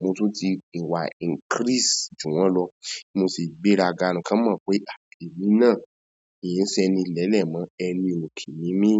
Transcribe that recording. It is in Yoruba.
mo tún ti wà increase jù wọ́n lọ. Mo sì gbéraga kan mọ̀ pé à èmí náà kì í ṣeni ilẹ́lẹ̀ mọ́ ẹni òke ní mí.